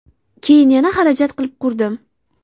Keyin yana xarajat qilib qurdim.